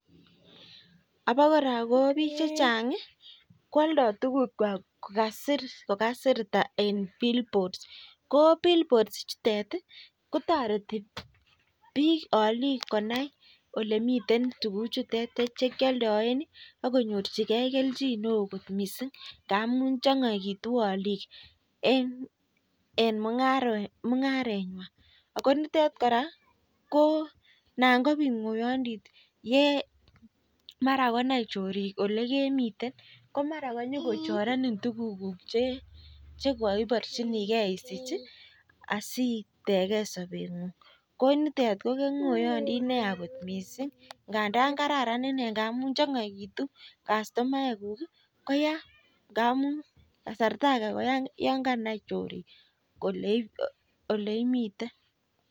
Abokora ko bik chechang ih koaldo tuguk kwak kokasir en billboard ko billboard ichuten ih kotareti bik alik konai olemiten tukuchuton yekialdaen ih akonyor chike kelchin neoo kot missing ngamun ih chang'aitu alik ih en mung'aret nyin ko nitet kora anan kobit ng'oyandit ye mara konai chorik kole en yemine komara inyokochorenin tuguk kuk yeibarchinike asiteken sabet ko nitet ko ng'oyandit neoo missing ndandan kararan ngamun chang'aitu kastomaek kuk